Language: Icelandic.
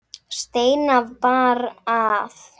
Steina bar að.